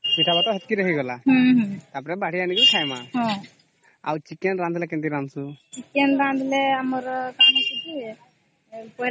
ସେଟା ଟା ସେତକୀ ରେ ହେଇଗଲା ଟା ପରେ ସେଟା ବାଢି ଏଣିକି ଖାଇବା ତାହାଲେ chicken ରାନ୍ଧିଲେ କେମିତି ରାନ୍ଧୁଛୁ